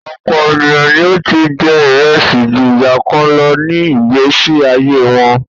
Ọ̀pọ̀ ènìyàn ni ó ti jẹ́ ìrẹsì ju ìgbàkan lọ ní ìgbésí ayé wọn.